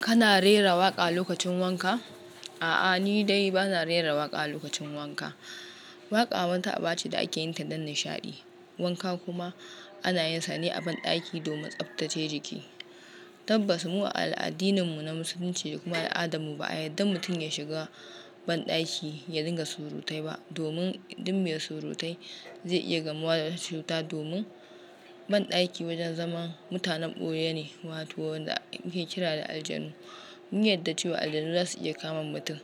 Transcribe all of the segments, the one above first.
Kana rera waƙa lokacin wanka? A'a, ni dai bana rera waƙa a lokacin wanka. Waƙa wata aba ce da ake yin ta don nishaɗi. Wanka kuma ana yin sa ne a banɗaki domin tsaftace jiki. Tabbas mu al'addininmu na Musulunci ne kuma al'adarmu ba a yadda mutum ya shiga banɗaki ya dinga surutai ba, domin duk mai surutai zai iya gamuwa da wata cuta. Domin banɗaki wajen zaman mutanen ɓoye ne, wato wanda ake kira da aljanu. Mun yarda cewa aljanu za su iya kama mutum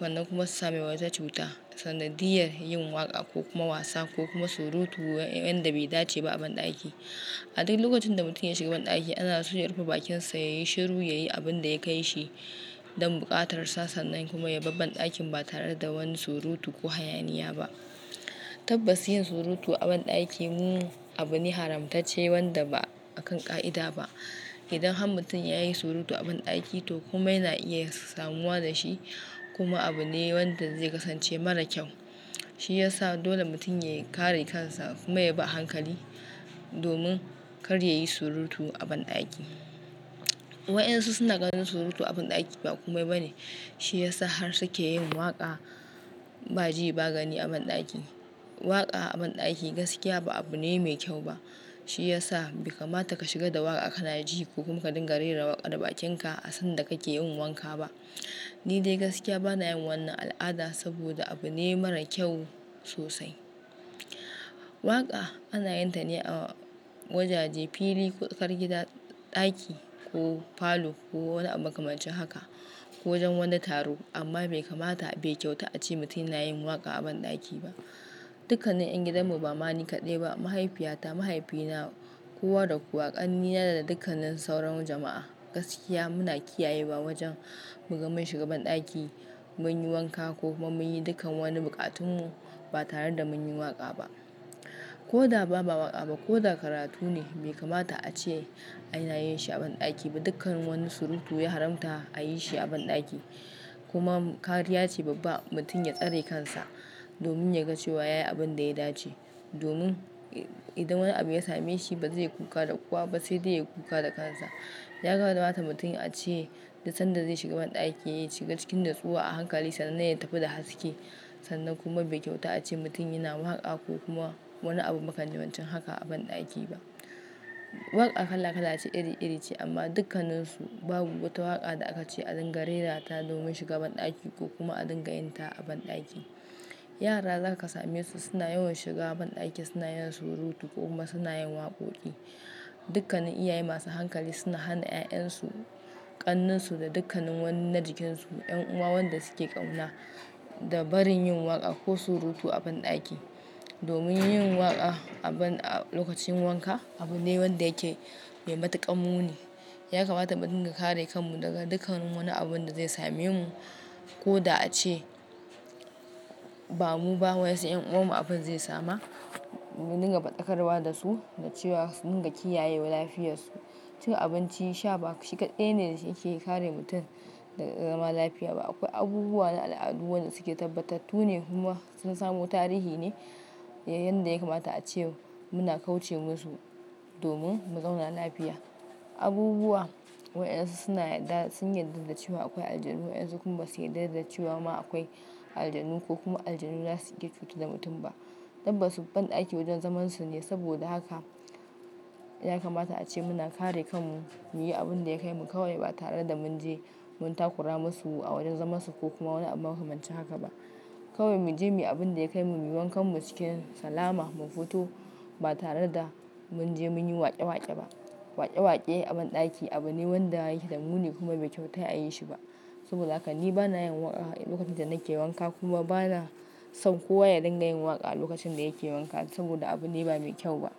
sannan kuma su same wa cuta. Sana diyar yin waƙa ko kuma wasa ko kuma surutu wanda bai dace ba a banɗaki. A duk lokacin da mutum ya shiga banɗaki ana so ya rufe bakinsa, ya yi shiru, ya yi abin da ya kai shi don buƙatar sa sannan kuma ya bar banɗakin ba tare da wani surutu ko hayaniya ba. Tabbas yin surutu a banɗaki mu abu ne haramtacce wanda ba akan ƙa'ida ba. Idan har mutum ya yi surutu a banɗaki to kuma yana iya samuwa da shi kuma abu ne wanda zai kasance mara kyau. Shi ya sa dole mutum ya kare kansa kuma ya bi a hankali domin kar ya yi surutu a banɗaki. Waɗansu suna ganin surutu a banɗaki ba komai bane. Shi yasa har suke yin waƙa ba ji ba gani a banɗaki. Waƙa a banɗaki gaskiya ba abu ne mai kyau ba. Shi ya sa bai kamata ka shiga da waƙa ka na ji ko kuma ka dinga rera waƙa da bakinka a sanda kake yin wanka ba. Ni dai gaskiya bana yin wannan al'ada saboda abu ne mara kyau sosai. Waƙa ana yin ta ne a wajaje, fili, ƙofar gida, ɗaki ko falo ko wani abu makamancin haka ko wajen wani taro. Amma bai kamata, bai kyautu a ce mutum yana yin waƙa a banɗaki ba. Dukkanin ƴan gidanmu ba mani kaɗai ba. Mahaifiyata, mahaifina, kowa da kowa ƙannena da dukkanin sauran jama'a gaskiya muna kiyaye wa wajen muga mun shiga banɗaki, mun yi wanka ko kuma mun yi dukkan wani buƙatunmu ba tare da mun yi waƙa ba. Ko da ba waƙa ba ko da karatu ne bai kamata a ce ana yin shi a banɗaki ba. Dukkan wani surutu ya haramta a yi shi a banɗaki. Kuma kariya ce babba mutum ya tsare kansa domin ya ga cewa ya yi abin da ya dace. Domin idan wani abu ya same shi ba zai yi kuka da kowa ba sai dai ya yi kuka da kansa. Ya kamata mutum a ce duk sanda zai shiga banɗaki ya shiga cikin natsuwa a hankali sannan ya tafi da haske. Sannan kuma bai kyautu a ce mutum yana waƙa ko kuma wani abu makamancin haka a banɗaki ba. Waƙa kala kala ce, iri iri ce amma dukkanansu babu wata waƙa da aka ce a dinga rerata domin shiga banɗaki ko kuma a dinga yin ta a banɗaki. Yaran da za ka same su suna yawan shiga banɗaki suna yin surutu ko kuma suna yin waƙoƙi. Dukkanin iyaye masu hankali suna hana 'ya'yan su, ƙannensu da dukkanin wani na jikinsu, 'yan uwa waɗanda suke ƙauna da barin yin waƙa ko surutu a banɗaki. Domin yin waƙa a banɗaki lokacin wanka abu ne wanda yake mai matuƙar mune. Ya kamata mu dinga kare kanmu daga dukkan wani abun da zai same mu ko da a ce ba mu ba wa yansu 'yan uwanmu abin zai samu. Mu dinga faɗakarwa da su da cewa su dinga kiyayewa lafiyarsu. Cin abinci shaba shi kaɗai ne da yake kare mutum daga zama lafiya ba. Akwai abubuwa na al'adu waɗanda suke tabbatattu ne kuma sun samo tarihi ne yanda ya kamata a ce muna kauce musu domin mu zauna lafiya. Abubuwa waɗansu suna yadda sun yarda da cewa akwai aljanu wayansu kuma sun yarda da cewa ma akwai aljanu ko kuma aljanu zasu iya cutar da mutum ba. Tabbas banɗaki wajen zamansu ne saboda haka ya kamata a ce muna kare kanmu, muyi abun da ya kai mu kawai ba tare da mun je mun takura masu a wajen zamansu ko kuma wani abu makamancin haka ba. Kawai mu je mu yi abun da ya kai mu, muyi wankanmu cikin salama mu fito ba tare da mun je mun yi waƙe waƙe ba. Waƙe waƙe a banɗaki abu ne wanda yake da muni kuma bai kyautu a yi shi ba. Saboda haka ni bana yin waƙa a lokacin da nake wanka kuma bana so kowa ya dinga yin waƙa a lokacin da yake wanka saboda abu ne ba mai kyau ba.